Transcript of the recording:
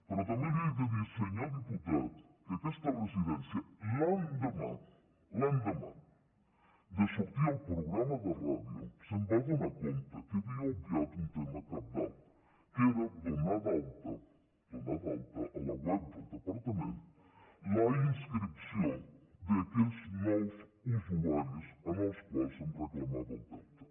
però també li haig de dir senyor diputat que aquesta residència l’endemà l’endemà de sortir al programa de ràdio es va adonar que havia obviat un tema cabdal que era donar d’alta a la web del departament la inscripció d’aquells nous usuaris dels quals en reclamava el deute